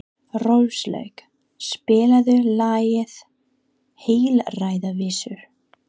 Róslaug, spilaðu lagið „Heilræðavísur“.